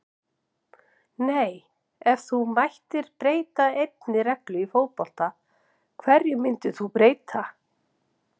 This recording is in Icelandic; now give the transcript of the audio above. nei Ef þú mættir breyta einni reglu í fótbolta, hverju myndir þú breyta?